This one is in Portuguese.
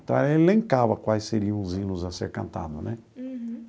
Então ela elencava quais seriam os hinos a ser cantado, né? Uhum.